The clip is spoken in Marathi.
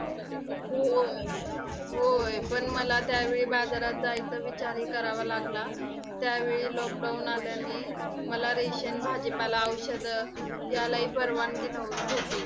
होय, होय. पण मला त्यावेळी बाजारात जायचा विचारही करावा लागला. त्यावेळी lockdown आल्याने मला ration भाजीपाला, औषधे यालाही परवानगी नव्ह होती.